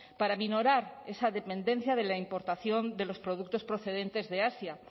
para aminorar esa dependencia de la importación de los productos procedentes de asia